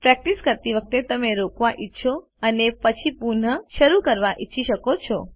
practice કરતી વખતે તમે રોકવા ઈચ્છો અને પછી પુન શરૂ કરવા ઈચ્છી શકો છો